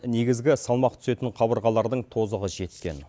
негізгі салмақ түсетін қабырғалардың тозығы жеткен